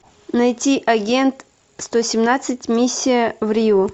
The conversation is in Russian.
найти агент сто семнадцать миссия в рио